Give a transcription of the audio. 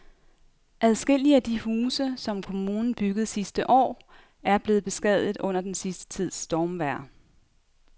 Adskillige af de huse, som kommunen byggede sidste år, er blevet beskadiget under den sidste tids stormvejr.